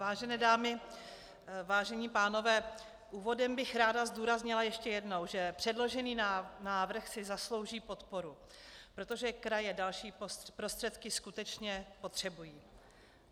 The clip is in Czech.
Vážené dámy, vážení pánové, úvodem bych ráda zdůraznila ještě jednou, že předložený návrh si zaslouží podporu, protože kraje další prostředky skutečně potřebují.